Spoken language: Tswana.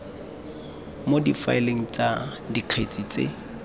mo difaeleng tsa dikgetse tse